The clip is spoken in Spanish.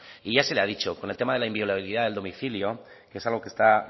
ya se le ha dicho con el tema de la inviolabilidad del domicilio que es algo que está